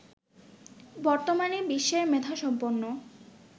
বর্তমানে বিশ্বের মেধাসম্পন্ন